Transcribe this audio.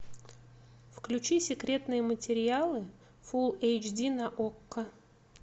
включи секретные материалы фул эйч ди на окко